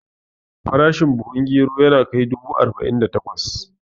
Farashin buhun gero yana kai dubu arba'in da takwas